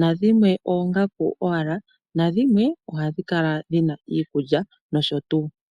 nadhimwe oongaku owala, nadhimwe ohadhi kala dhina iikulya nosho tuu.